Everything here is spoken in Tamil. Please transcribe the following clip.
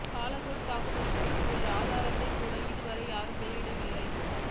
பாலகோட் தாக்குதல் குறித்து ஒரு ஆதாரத்தை கூட இதுவரை யாரும் வெளியிடவில்லையே